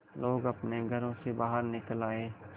लोग अपने घरों से बाहर निकल आए